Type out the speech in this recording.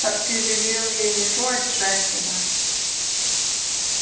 так ты велел ей не трогать джастина